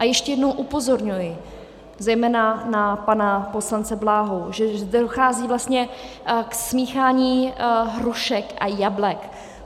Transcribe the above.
A ještě jednou upozorňuji zejména na pana poslance Bláhu, že zde dochází vlastně k smíchání hrušek a jablek.